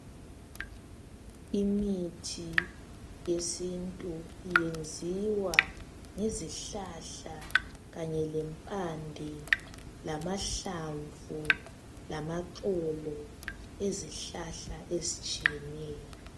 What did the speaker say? Imithi yesintu iyenziwa ngezihlahla kanye lempande lamahlamvu lamaxolo ezihlahla ezitshiyeneyo.